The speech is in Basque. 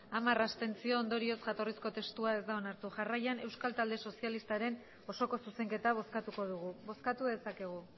hamar abstentzio ondorioz jatorrizko testua ez da onartu jarraian euskal talde sozialistaren osoko zuzenketa bozkatuko dugu bozkatu dezakegu